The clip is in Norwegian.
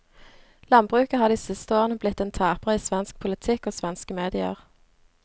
Landbruket har de siste årene blitt en taper i svensk politikk og svenske medier.